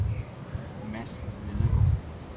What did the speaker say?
Mads Nedergaard